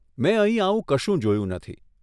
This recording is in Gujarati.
મેં અહીં આવું કશું જોયું નથી.